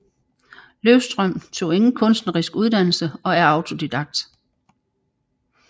Løvstrøm tog ingen kunstnerisk uddannelse og er autodidakt